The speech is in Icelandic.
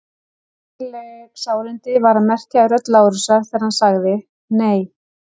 Greinileg sárindi var að merkja í rödd Lárusar þegar hann sagði: Nei.